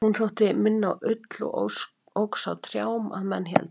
hún þótti minna á ull og óx á trjám að menn héldu